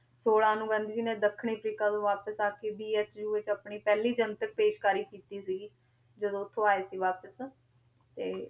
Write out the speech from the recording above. ਛੋਲਾਂ ਨੂੰ ਗਾਂਧੀ ਜੀ ਨੇ ਦੱਖਣੀ ਅਫ਼ਰੀਕਾ ਤੋਂ ਵਾਪਿਸ ਆ ਕੇ ਆਪਣੀ ਪਹਿਲੀ ਜਨਤਕ ਪੇਸ਼ਕਾਰੀ ਕੀਤੀ ਸੀਗੀ, ਜਦੋਂ ਉੱਥੋਂ ਆਏ ਸੀ ਵਾਪਿਸ ਤੇ